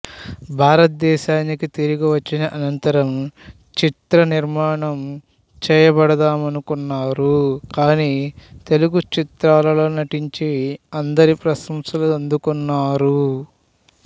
భారతదేశానికి తిరిగి వచ్చిన అనంతరం చిత్ర నిర్మాణం చేబడదామనుకున్నారు కాని తెలుగు చిత్రాలలో నటించి అందరి ప్రశంసలు అందుకున్నారు